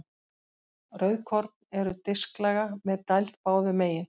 Rauðkorn eru disklaga með dæld báðum megin.